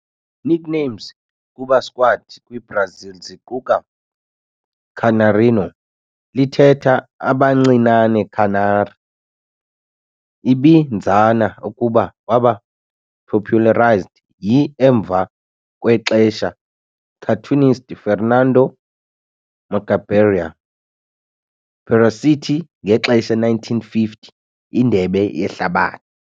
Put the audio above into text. Nicknames kuba squad kwi-Brazil ziquka "Canarinho", lithetha "Abancinane Canary", ibinzana ukuba waba popularized yi-emva kwexesha cartoonist Fernando "Mangabeira" Pieruccetti ngexesha 1950 Indebe Yehlabathi.